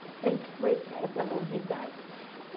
Eita foi isso essa novidade.